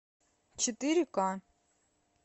четыре ка